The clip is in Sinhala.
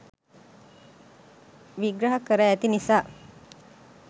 විග්‍රහ කර ඇති නිසා